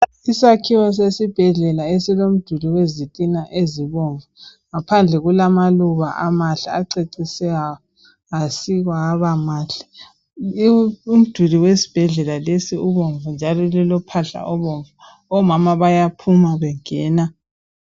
Isakhiwo sesibhedlela esilomduli wezitina ezibomvu. Ngaphandle kulamaluba amahle acecise asikwa aba mahle. Umduli wesibhedlela lesi ubomvu njalo lilophahla obomvu. Omama bayaphuma bengena.